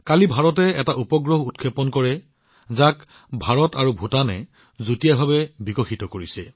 কালিয়েই ভাৰতে এটা উপগ্ৰহ উৎক্ষেপণ কৰিছে যাক ভাৰত আৰু ভূটানে যুটীয়াভাৱে বিকশিত কৰিছে